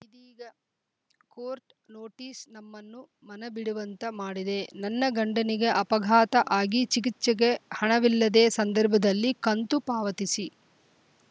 ಇದೀಗ court notice ನಮ್ಮನ್ನು ಮನ ಬಿಡುವಂತ ಮಾಡಿದೆ ನನ್ನ ಗಂಡನಿಗೆ ಅಪಘಾತ ಆಗಿ ಜಿಗಿಚೆಗೆ ಹಣವಿಲ್ಲದ ಸಂದರ್ಭದಲ್ಲಿ ಕಂತು ಪಾವತಿಸಿ